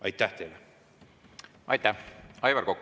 Aitäh teile!